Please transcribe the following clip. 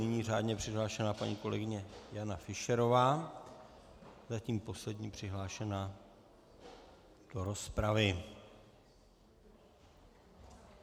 Nyní řádně přihlášená paní kolegyně Jana Fischerová, zatím poslední přihlášená do rozpravy.